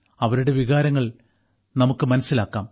അവരുടെ വികാരങ്ങൾ നമുക്ക് മനസ്സിലാക്കാം